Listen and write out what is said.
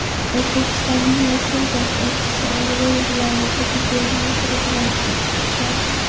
O‘zbekistonning Rossiyadagi elchisi Oryol viloyati gubernatori bilan uchrashdi.